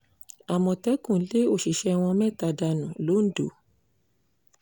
àmọ̀tẹ́kùn lé òṣìṣẹ́ wọn mẹ́ta dànù londo